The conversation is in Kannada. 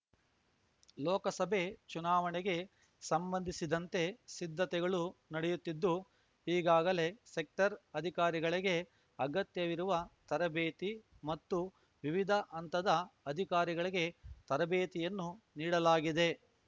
ಲೋಕಸಭೆ ಚುನಾವಣೆಗೆ ಸಂಬಂಧಿಸಿದಂತೆ ಸಿದ್ಧತೆಗಳು ನಡೆಯುತ್ತಿದ್ದು ಈಗಾಗಲೆ ಸೆಕ್ಟರ್‌ ಅಧಿಕಾರಿಗಳಿಗೆ ಅಗತ್ಯವಿರುವ ತರಬೇತಿ ಮತ್ತು ವಿವಿಧ ಹಂತದ ಅಧಿಕಾರಿಗಳಿಗೆ ತರಬೇತಿಯನ್ನು ನೀಡಲಾಗಿದೆ